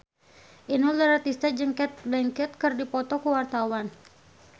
Inul Daratista jeung Cate Blanchett keur dipoto ku wartawan